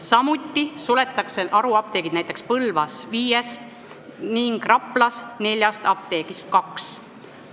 Samuti suletakse näiteks Põlva viiest ning Rapla neljast apteegist kaks.